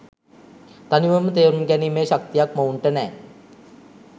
තනිවම තේරුම් ගැනීමේ ශක්තියක් මොවුන්ට නෑ.